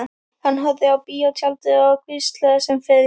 Hann horfði á bíótjaldið og hvíslaði sem fyrr.